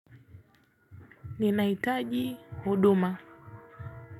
Ninaitaji huduma.